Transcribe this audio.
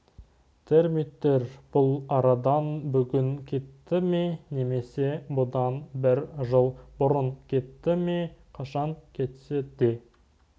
термиттер бұл арадан бүгін кетті ме немесе бұдан бір жыл бұрын кетті ме қашан кетсе де